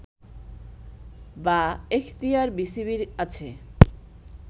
বা এখতিয়ার বিসিবির আছে